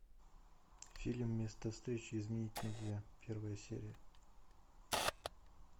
фильм место встречи изменить нельзя первая серия